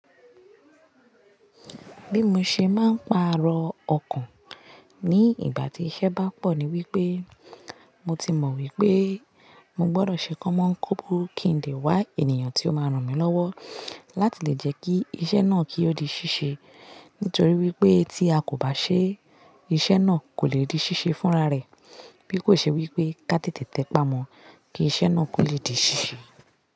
Bí mo ṣe máa ń pààrọ̀ ọkàn ní ìgbà tí iṣẹ́ bá pọ̀ ní wípé mo ti mọ̀ wípé mo gbọdọ̀ ṣe kọ́mọ́nkómbo kí n lè wá ènìyàn tí ó máa ràn mí lọ́wọ́ láti lè jẹ́ kí iṣẹ́ náà kí ó di ṣíṣe. Nítorí wípé tí a kò bá ṣe iṣẹ́ náà kò lè di ṣíṣe fúnra rẹ̀. Bí kò ṣe wípé ká tètè tẹ́pà mọ̀ kí iṣẹ́ náà kò lè di ṣíṣe.